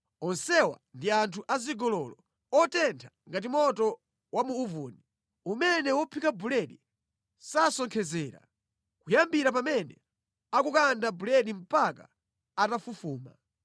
Onsewa ndi anthu azigololo, otentha ngati moto wa mu uvuni, umene wophika buledi sasonkhezera kuyambira pamene akukanda buledi mpaka atafufuma.